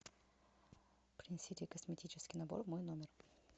принесите косметический набор в мой номер